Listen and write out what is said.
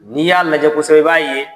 N'i y'a lajɛ kosɛbɛ, i b'a ye